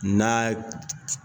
N'a